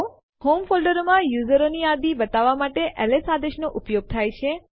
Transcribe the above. home folder માં યુઝરો ની યાદી બતાવવા માટે એલએસ આદેશ નો ઉપયોગ થાય છે